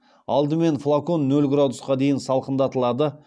алдымен флакон нөл градусқа дейін салқындатылады